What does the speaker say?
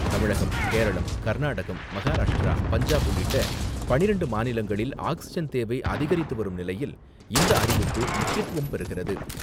தமிழகம், கேரளம், கர்நாடகம், மகராஷ்டிரா, பஞ்சாப் உள்ளிட்ட பன்னிரெண்டு மாநிலங்களில் ஆக்சிஜன் தேவை அதிகரித்து வரும் நிலையில், இந்த அறிவிப்பு முக்கியத்துவம் பெறுகிறது.